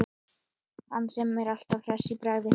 Hann sem er alltaf hress í bragði.